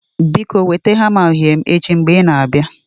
Biko weta hamma uhie m echi mgbe ị na-abịa.